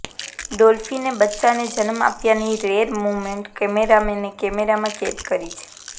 ડોલ્ફીને બચ્ચાને જન્મ આપ્યાની રેયર મોમેન્ટ કેમેરામેને કેમેરામાં કેદ કરી છે